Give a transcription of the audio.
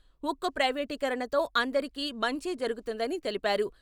ఉక్కు ప్రైవేటీకరణతో అందరికీ మంచే జరుగుతుందని తెలిపారు.